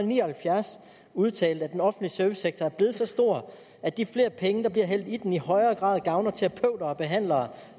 ni og halvfjerds udtalte at den offentlige servicesektor er blevet så stor at de flere penge der bliver hældt i den i højere grad gavner terapeuter og behandlere